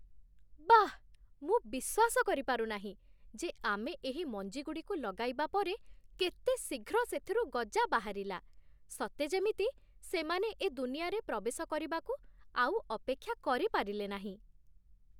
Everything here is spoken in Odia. ବାଃ, ମୁଁ ବିଶ୍ୱାସ କରିପାରୁ ନାହିଁ ଯେ ଆମେ ଏହି ମଞ୍ଜିଗୁଡ଼ିକୁ ଲଗାଇବା ପରେ କେତେ ଶୀଘ୍ର ସେଥିରୁ ଗଜା ବାହାରିଲା। ସତେ ଯେମିତି ସେମାନେ ଏ ଦୁନିଆରେ ପ୍ରବେଶ କରିବାକୁ ଆଉ ଅପେକ୍ଷା କରିପାରିଲେ ନାହିଁ!